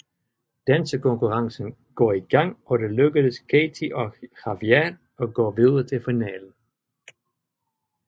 Dansekonkurrencen går i gang og det lykkedes Katey og Javier at gå videre til finalen